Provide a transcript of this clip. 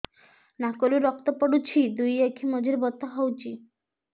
ନାକରୁ ରକ୍ତ ପଡୁଛି ଦୁଇ ଆଖି ମଝିରେ ବଥା ହଉଚି